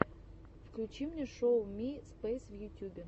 включи мне шоу ми спейс в ютюбе